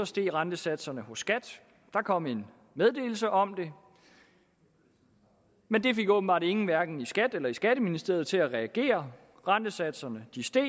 steg rentesatserne hos skat der kom en meddelelse om det men det fik åbenbart ingen hverken i skat eller skatteministeriet til at reagere rentesatserne steg